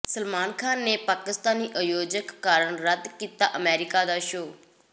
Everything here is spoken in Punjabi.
ਸਲਮਾਨ ਖਾਨ ਨੇ ਪਾਕਿਸਤਾਨੀ ਆਯੋਜਕ ਕਾਰਨ ਰੱਦ ਕੀਤਾ ਅਮਰੀਕਾ ਦਾ ਸ਼ੋਅ